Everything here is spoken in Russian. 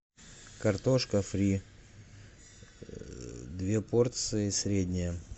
картошка фри две порции средняя